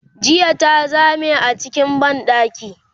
jiya ta Zame a cikin banɗaki